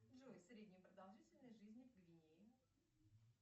джой средняя продолжительность жизни в гвинее